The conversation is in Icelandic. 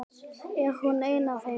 Er hún ein af þeim?